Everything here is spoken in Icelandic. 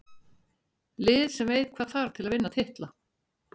Lið sem veit hvað þarf til að vinna titla.